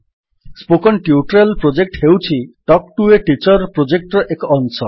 spoken tutorial project ହେଉଛି talk to a teacher ପ୍ରୋଜେକ୍ଟର ଏକ ଅଂଶ